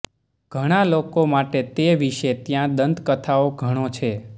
ઘણા લોકો માટે તે વિશે ત્યાં દંતકથાઓ ઘણો છે